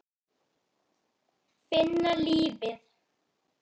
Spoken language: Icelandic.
Finna lífið.